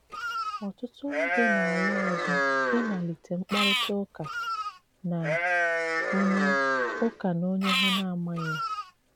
Ọ̀tùtù ndị na-ala àzù ịmalìtè mkpàrịtà ùkà na onye ùkà na onye ha na-amàghì.